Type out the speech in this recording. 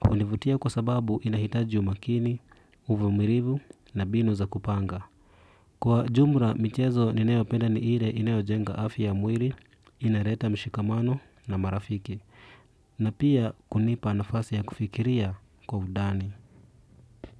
hunivutia kwa sababu inahitaji umakini, uvumilivu na mbinu za kupanga. Kwa jumla, michezo ninayopenda ni ile inayo jenga afya ya mwili, inaleta mshikamano na marafiki. Na pia kunipa nafasi ya kufikiria kwa undani.